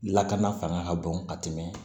Lakana fanga ka bon ka tɛmɛ